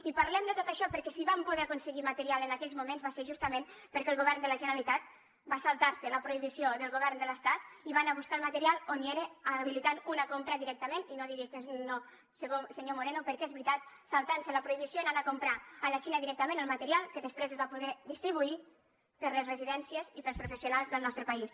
i parlem de tot això perquè si vam poder aconseguir material en aquells moments va ser justament perquè el govern de la generalitat va saltar se la prohibició del govern de l’estat i va anar a buscar el material on hi era habilitant una compra directament i no digui que no senyor moreno perquè és veritat saltant se la prohibició i anant a comprar a la xina directament el material que després es va poder distribuir per les residències i per als professionals del nostre país